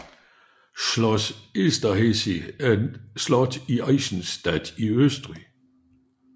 Schloss Esterházy er et slot i Eisenstadt i Østrig